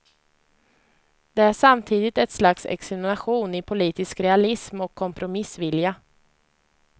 Det är samtidigt ett slags examination i politisk realism och kompromissvilja.